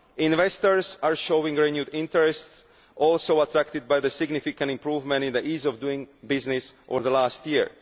Investors are showing renewed interest, also attracted by the significant improvement in the ease of doing business over the last year.